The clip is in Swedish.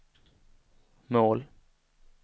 mål